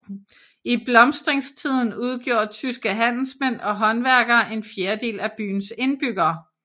I blomstringstiden udgjorde tyske handelsmænd og håndværkere en fjerdedel af byens indbyggere